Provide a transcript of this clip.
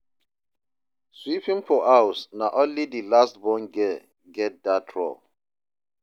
sweeping for house na only di last born girl get dat role